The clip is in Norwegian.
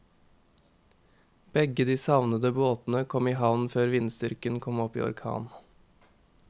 Begge de savnede båtene kom i havn før vindstyrken kom opp i orkan.